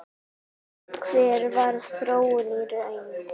Hver varð þróunin í raun?